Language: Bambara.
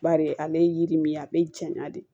Bari ale ye yiri min ye a bɛ janya de